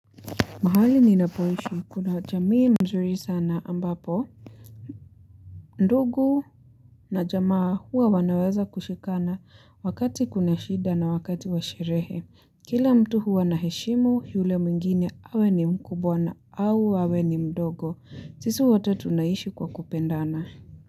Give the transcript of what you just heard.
Mahali ninapoishi kuna jamii mzuri sana ambapo. Ndugu na jamaa huwa wanaweza kushikana wakati kuna shida na wakati wa sherehe. Kila mtu huwa na heshimu yule mwingine awe ni mkubwa na au awe ni mdogo. Sisi wote tunaishi kwa kupendana.